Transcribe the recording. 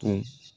Ka